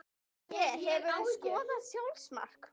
Gunni Pé Hefurðu skorað sjálfsmark?